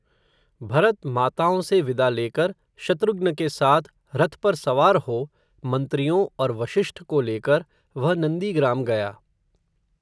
भरत माताओं से विदा लेकर, शत्रुघ्न के साथ, रथ पर सवार हो, मन्त्रियों और वषिष्ठ को लेकर, वह, नन्दीग्राम गया